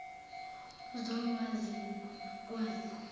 zol wazi nokwazi